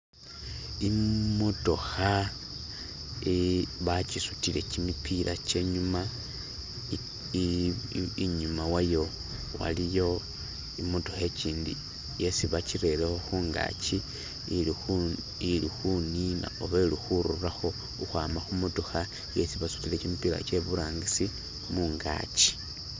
imotokha bakisutile kimipila kyenyuma inyuma wayo waliyo imotokha ikindi yesi bakirerekho khungaki ilikhunina oba ilikhururakho ukhwama khumotokha isi basutile kimipila kyeburangisi mungaki.